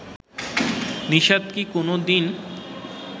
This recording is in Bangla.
নিষাদ কি কোনদিন